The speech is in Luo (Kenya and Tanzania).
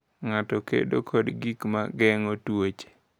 Ng’ato kedo kod gik ma geng’o tuoche.